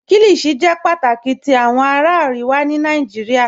Kíllíshì jẹ́ pátákì tì awọn ará Àríwà ní Nàìjíríà